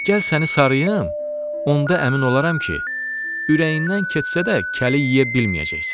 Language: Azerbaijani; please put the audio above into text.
Gəl səni sarıyım, onda əmin olaram ki, ürəyindən keçsə də, kəli yeyə bilməyəcəksən.